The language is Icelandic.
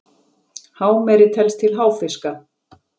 hámeri telst til háfiska